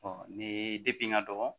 ni depi n ka dɔgɔ